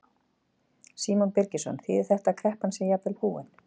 Símon Birgisson: Þýðir þetta að kreppan sé jafnvel búin?